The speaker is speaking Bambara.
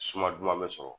Suma duman bɛ sɔrɔ